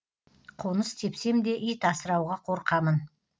қоныс тепсемде ит асырауға қорқамын